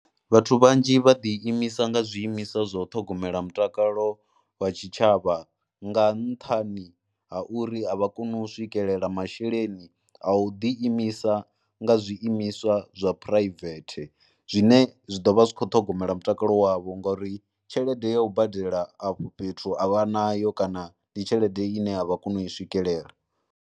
Vhathu vhanzhi vha ḓiimisa nga zwiimisa zwa u ṱhogomela mutakalo wa tshitshavha nga nṱhani ha uri a vha koni u swikelela masheleni a u ḓiimisa nga zwiimiswa zwa phuraivethe zwine zwi ḓo vha zwi kho ṱhogomela mutakalo wavho ngauri tshelede ya u badela afho fhethu a vha nayo kana ndi tshelede ine a vha koni u i swikelela.